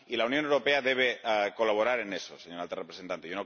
Y la Unión Europea debe colaborar en eso, señora Alta Representante.